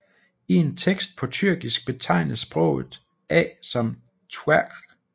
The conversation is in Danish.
I en tekst på tyrkisk betegnes sproget A som twqry